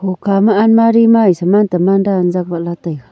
hokha ma almari ma e saman taman dan jakwat la taiga.